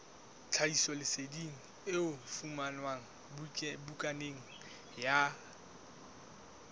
tlhahisoleseding e fumanwe bukaneng ya